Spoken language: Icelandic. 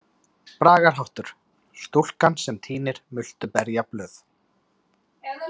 Bragarháttur: „Stúlkan sem tínir multuberjablöð“.